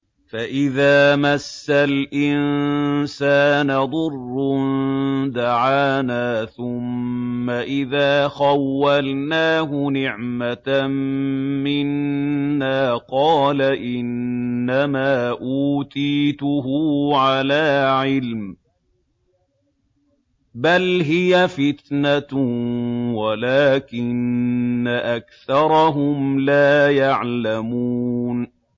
فَإِذَا مَسَّ الْإِنسَانَ ضُرٌّ دَعَانَا ثُمَّ إِذَا خَوَّلْنَاهُ نِعْمَةً مِّنَّا قَالَ إِنَّمَا أُوتِيتُهُ عَلَىٰ عِلْمٍ ۚ بَلْ هِيَ فِتْنَةٌ وَلَٰكِنَّ أَكْثَرَهُمْ لَا يَعْلَمُونَ